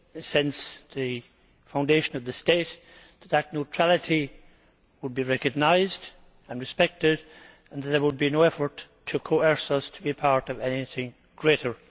since the foundation of the state, that this neutrality would be recognised and respected and that there would be no effort to coerce us to be part of anything greater.